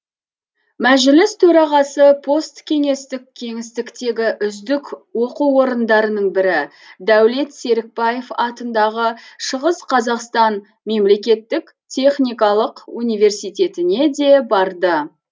мәжіліс төрағасы посткеңестік кеңістіктегі үздік оқу орындарының бірі дәулет серікбаев атындағы шығыс қазақстан мемлекеттік техникалық университетіне де барды